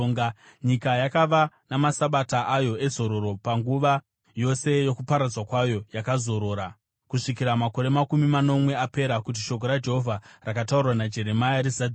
Nyika yakava namaSabata ayo ezororo; panguva yose yokuparadzwa kwayo yakazorora, kusvikira makore makumi manomwe apera kuti shoko raJehovha rakataurwa naJeremia rizadziswe.